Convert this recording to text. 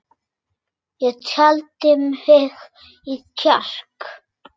Ég taldi í mig kjark.